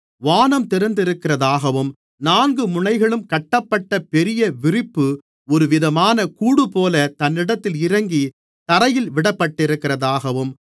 வானம் திறந்திருக்கிறதாகவும் நான்கு முனைகளும் கட்டப்பட்ட பெரிய விரிப்பு ஒருவிதமான கூடுபோல தன்னிடத்தில் இறங்கித் தரையில் விடப்பட்டிருக்கிறதாகவும்